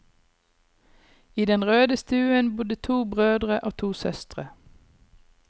I den røde stuen bodde to brødre og to søstre.